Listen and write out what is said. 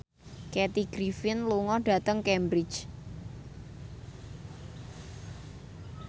Kathy Griffin lunga dhateng Cambridge